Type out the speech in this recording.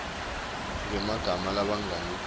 ngemagama langabi ngaphasi